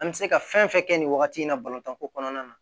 An bɛ se ka fɛn fɛn kɛ nin wagati in na balontan ko kɔnɔna na